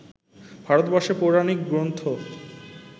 ভারতবর্ষে পৌরাণিক গ্রন্থ